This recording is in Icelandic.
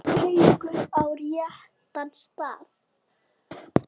Haukur: Á réttan stað?